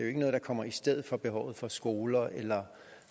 ikke noget der kommer i stedet for behovet for skoler eller